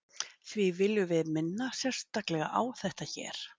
Því viljum við minna sérstaklega á þetta hér.